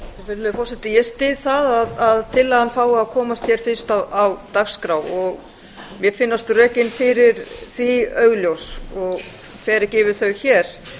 virðulegi forseti ég styð það að tillagan fái að koma hér fyrst á dagskrá og mér finnast rökin fyrir því augljós og fer ekki yfir þau hér